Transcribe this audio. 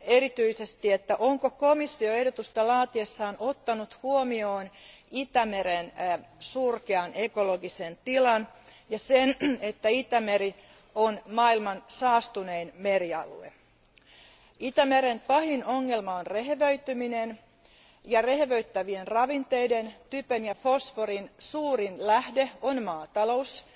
erityisesti, että onko komissio ehdotusta laatiessaan ottanut huomioon Itämeren surkean ekologisen tilan ja sen, että Itämeri on maailman saastunein merialue? Itämeren pahin ongelma on rehevöityminen, ja rehevöittävien ravinteiden, typen ja fosforin, suurin lähde on maatalous,